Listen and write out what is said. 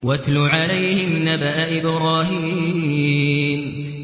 وَاتْلُ عَلَيْهِمْ نَبَأَ إِبْرَاهِيمَ